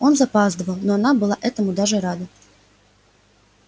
он запаздывал но она была этому даже рада